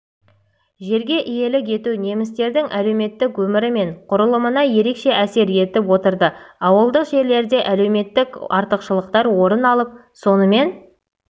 жерге иелік ету немістердің әлеуметтік өмірі мен құрылымына ерекше әсер етіп отырдыауылдық жерлерде әлеуметтік артықшылықтар орын алып сонымен